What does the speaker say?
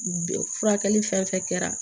Furakɛli fɛn fɛn kɛra